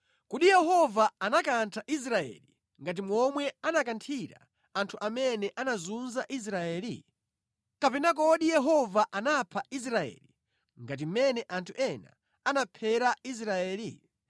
Kodi Yehova anakantha Israeli ngati momwe anakanthira anthu amene anazunza Israeli? Kapena kodi Yehova anapha Israeli ngati mmene anthu ena anaphera Israeli?